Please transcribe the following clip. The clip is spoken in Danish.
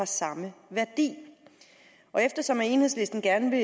samme værdi og eftersom enhedslisten gerne vil